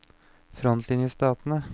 frontlinjestatene